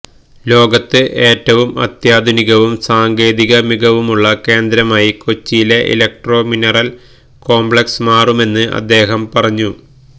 ലോകത്തില് ഏറ്റവും അത്യാധുനികവും സാങ്കേതിക മികവുമുള്ള കേന്ദ്രമായി കൊച്ചിയിലെ ഇലക്ട്രോ മിനറല് കോംപ്ലക്സ് മാറുമെന്ന് അദ്ദേഹം പറഞ്ഞു